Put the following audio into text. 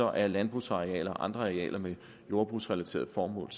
er landbrugsarealer og andre arealer med jordbrugsrelaterede formål